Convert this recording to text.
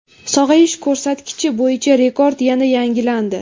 Sog‘ayish ko‘rsatkichi bo‘yicha rekord yana yangilandi.